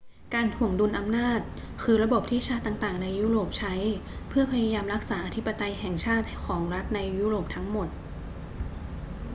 การถ่วงดุลอำนาจคือระบบที่ชาติต่าง ๆ ในยุโรปใช้เพื่อพยายามรักษาอธิปไตยแห่งชาติของรัฐในยุโรปทั้งหมด